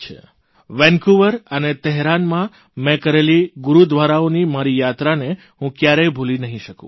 Vancouver Vancouver અને તહૈરાનમાં મે કરેલી ગુરૂદ્વારાઓની મારી યાત્રાને હું ક્યારેય ભૂલી નહીં શકું